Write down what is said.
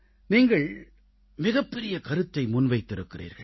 நீங்கள் மிகப்பெரிய கருத்தை முன்வைத்திருக்கிறீர்கள்